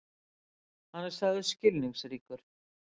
Hann er sagður skilningsríkur.